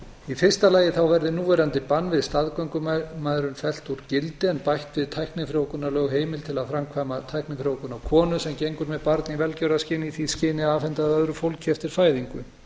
í fyrsta lagi verði núverandi bann við staðgöngumæðrun fellt úr gildi en bætt við tæknifrjóvgunarlög heimild til að framkvæma tæknifrjóvgun á konu sem gengur með barn í velgjörðarskyni í því skyni að afhenda það öðru fólki eftir fæðingu